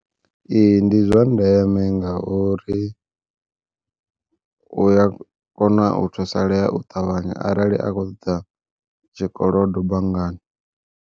Ee ndi zwa ndeme ngauri, uya kona u thusalea u ṱavhanya arali a kho ṱoḓa tshikolodo banngani.